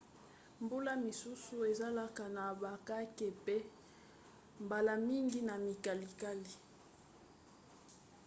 mbula misusu ezalaka na bakake mpe mbala mingi na mikalikali